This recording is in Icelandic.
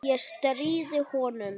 Ég stríði honum.